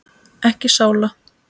Ekki sála.